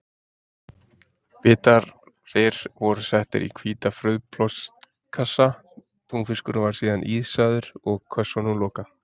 Bitarir voru settir í hvíta frauðplastkassa, túnfiskurinn var síðan ísaður og kössunum lokað.